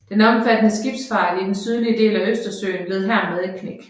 Den omfattende skibsfart i den sydlige del af Østersøen led hermed et knæk